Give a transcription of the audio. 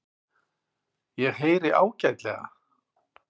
Ég heyri ágætlega.